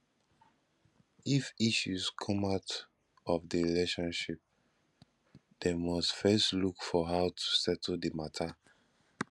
if issues come out of di relationship dem must first look for how to settle di matter